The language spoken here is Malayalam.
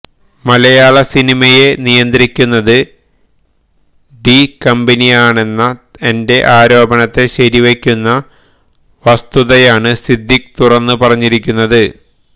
മലയാള സിനിമയെ നിയന്ത്രിക്കുന്നത് ഡി കമ്പനിയാണെന്ന എന്റെ ആരോപണത്തെ ശരിവയ്ക്കുന്ന വസ്തുതയാണ് സിദ്ദീഖ് തുറന്ന് പറഞ്ഞിരിക്കുന്നത്